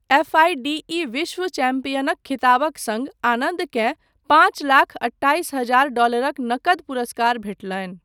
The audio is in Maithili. एफआईडीई विश्व चैंपियनक खिताबक सङ्ग आनन्दकेँ पाँच लाख अठाइस हजार डॉलरक नकद पुरस्कार भेटलनि।